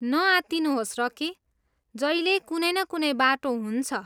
न आत्तिनुहोस्, रकी। जहिल्यै कुनै न कुनै बाटो हुन्छ।